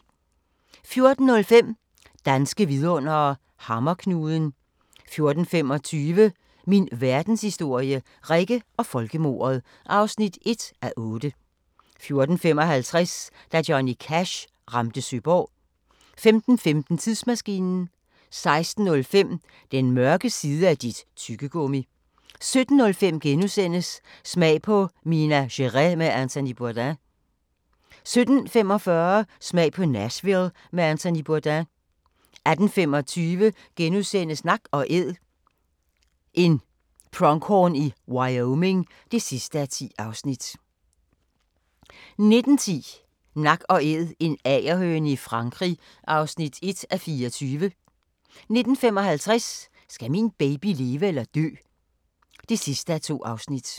14:05: Danske vidundere: Hammerknuden 14:25: Min Verdenshistorie – Rikke og folkemordet (1:8) 14:55: Da Johnny Cash ramte Søborg 15:15: Tidsmaskinen 16:05: Den mørke side af dit tyggegummi! 17:05: Smag på Minas Gerais med Anthony Bourdain * 17:45: Smag på Nashville med Anthony Bourdain 18:25: Nak & Æd – en pronghorn i Wyoming (10:10)* 19:10: Nak & Æd – en agerhøne i Frankrig (1:24) 19:55: Skal min baby leve eller dø? (2:2)